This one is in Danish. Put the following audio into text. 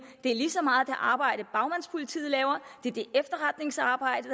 det er lige så meget det arbejde bagmandspolitiet laver det er det efterretningsarbejde